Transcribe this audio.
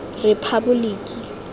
rephaboliki